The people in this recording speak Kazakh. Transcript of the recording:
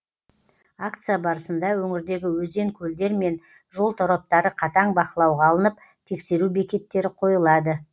акция барысында өңірдегі өзен көлдер мен жол тораптары қатаң бақылауға алынып тексеру бекеттері қойылады